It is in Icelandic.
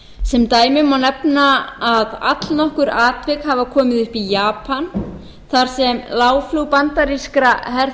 sem dæmi má nefna að allnokkur atvik hafa komið upp í japan þar sem lágflug bandarískra